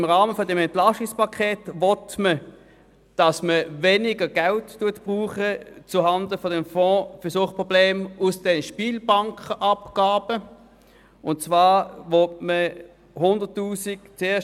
Im Rahmen des EP 18 will man weniger Geld zuhanden des Fonds für Suchtprobleme aus der Spielbankenabgabe abzweigen.